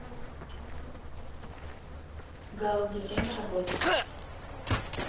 гауди время работы